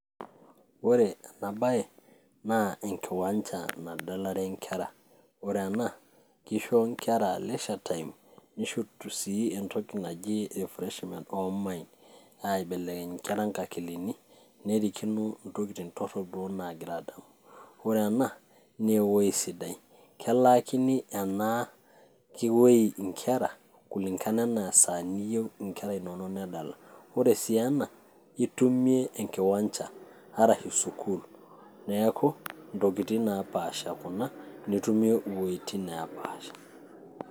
ore ena baye naa enkiwanja nadalare inkera ore ena kisho inkera leisure time nisho sii entoki naji refreshment oh minds aibelekeny inkera nkakilini nerikino intokitin torrok duo nagira adamu ore ena naa ewoi sidai kelaakini ena kiwei inkera kulingana enaa esaa niyieu inkera inonok nedala ore sii ena itumie enkiwanja arashu sukul neku intokitin napasha kuna nitumie iwuejitin nepaasha.